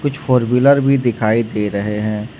Four wheeler भी दिखाई दे रहे हैं।